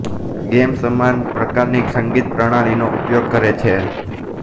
game સમાન પ્રકારની સંગીત પ્રણાલીનો ઉપયોગ કરે છે